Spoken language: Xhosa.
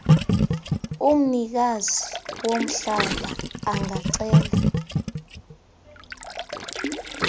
umnikazi womhlaba angacela